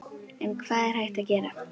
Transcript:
En hvað er hægt að gera?